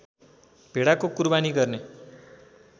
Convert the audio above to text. भेडाको कुरबानी गर्ने